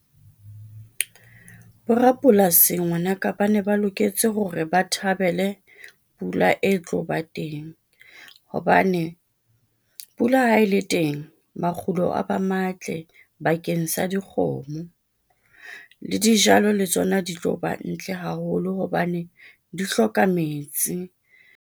Borapolasi ngwanaka ba ne ba loketse hore ba thabele pula e tlo ba teng. Hobane pula ha e le teng, makgulo a ba matle bakeng sa dikgomo le dijalo le tsona di tlo ba ntle haholo hobane di hloka metsi.